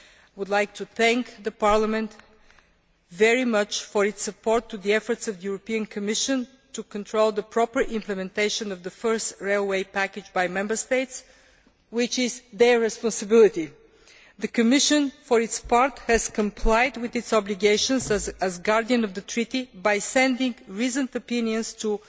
I would like to thank Parliament very much for its support for the efforts of the European Commission to control the proper implementation of the first railway package by Member States, which is their responsibility. The Commission, for its part, has complied with its obligations as guardian of the treaty by sending reasoned opinions to